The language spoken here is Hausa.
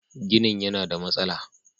Ginin yana da matsala.